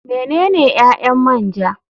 Menene ƴaƴan man ja.